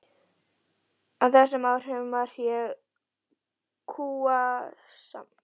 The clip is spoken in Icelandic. Á þessum árum var ég kúasmali heima.